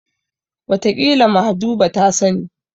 Wataƙila Mahjuba ta sani.